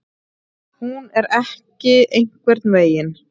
Hún er ekki einhvern veginn.